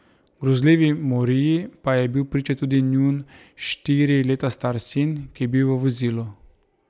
Grozljivi moriji pa je bil priča tudi njun štiri leta star sin, ki je bil v vozilu.